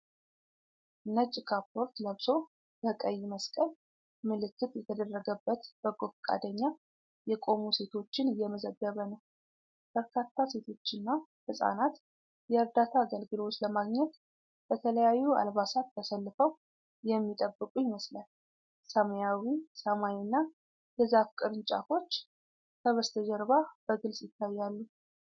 ነጭ ካፖርት ለብሶ በቀይ መስቀል ምልክት የተደረገበት በጎ ፈቃደኛ የቆሙ ሴቶችን እየመዘገበ ነው። በርካታ ሴቶችና ሕፃናት የዕርዳታ አገልግሎት ለማግኘት በተለያዩ አልባሳት ተሰልፈው የሚጠብቁ ይመስላል። ሰማያዊው ሰማይና የዛፍ ቅርንጫፎች ከበስተጀርባ በግልጽ ይታያሉ።